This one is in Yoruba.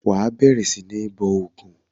Wà á bẹ̀rẹ̀ sí ní bọ ògún!